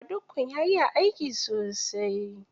Badukkun ya iya aiki sosai